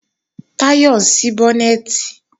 Táyọ̀ ń ṣí bọ́nẹ̀tì